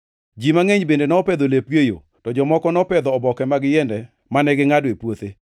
Ji mangʼeny bende nopedho lepgi e yo, to jomoko nopedho oboke mag yiende mane gingʼado e puothe.